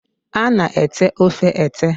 a na-ete ofe ete.